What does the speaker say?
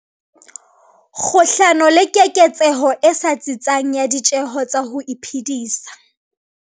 kgahlano le keketseho e sa tsitsang ya ditjeho tsa ho iphedisa.